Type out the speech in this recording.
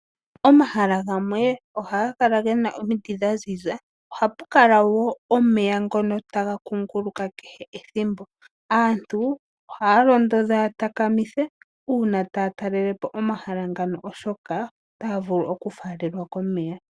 Omahala gamwe ohaga kala ge na omiti dha ziza, oha pu kala wo omeya ngono taga kuunguluka kehe ethimbo. Aantu ohaya londodhwa ya takamithe uuna taya talelepo omahala ngano oshoka otaya vulu okufaalelwa komeya.